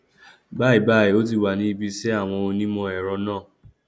báyìíbáyìí ó ti wà ní ibiṣẹ àwọn onímọ ẹrọ náà